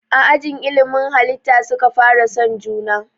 A ajin ilimin halitta suka fara son juna